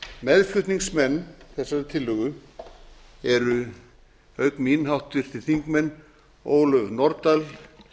meðflutningsmenn þessarar tillögu eru auk mín háttvirtir þingmenn ólöf nordal